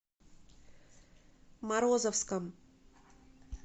морозовском